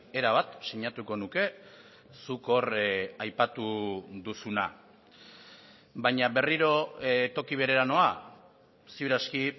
erabat sinatuko nuke zuk hor aipatu duzuna baina berriro toki berera noa ziur aski